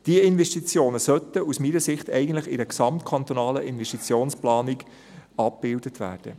Diese Investitionen sollten aus meiner Sicht eigentlich in einer gesamtkantonalen Investitionsplanung abgebildet werden.